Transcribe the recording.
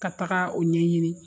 Ka taga o ɲɛ ɲini